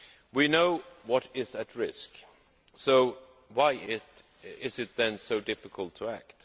We know what is at risk, so why is it then so difficult to act?